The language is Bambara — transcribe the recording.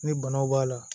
Ni banaw b'a la